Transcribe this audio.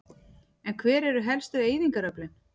En hver eru helstu eyðingaröflin?